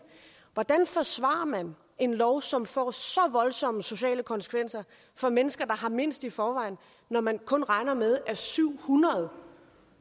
hvordan forsvarer man en lov som får så voldsomme sociale konsekvenser for mennesker der har mindst i forvejen når man kun regner med at syv hundrede